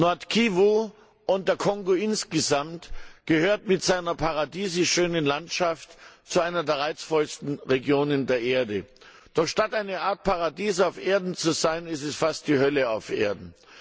Nord Kivu und der Kongo insgesamt gehört mit seiner paradiesisch schönen Landschaft zu einer der reizvollsten Regionen der Erde. Doch statt eine Art Paradies auf Erden zu sein, ist es fast die Hölle auf Erden.